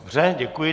Dobře, děkuji.